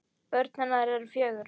Börn hennar eru fjögur.